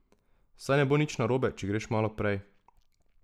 Saj ne bo nič narobe, če greš malo prej.